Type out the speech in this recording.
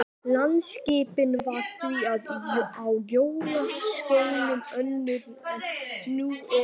Landaskipan var því á jökulskeiðum önnur en nú er.